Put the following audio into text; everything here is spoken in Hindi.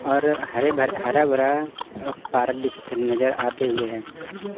और हरे हरा भरा पार्क नज़र आते हुए है।